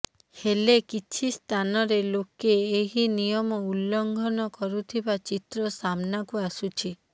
ହେଲେ କିଛି ସ୍ଥାନରେ ଲୋକେ ଏହି ନିୟମ ଉଲ୍ଲଂଘନ କରୁଥିବା ଚିତ୍ର ସାମ୍ନାକୁ ଆସୁଛି